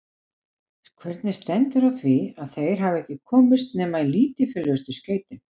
Hvernig stendur á því, að þeir hafa ekki komist nema í lítilfjörlegustu skeytin?